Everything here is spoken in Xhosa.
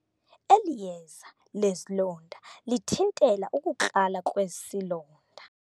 Eli yeza lezilonda lithintela ukukrala kwesilonda.